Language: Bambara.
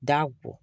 Da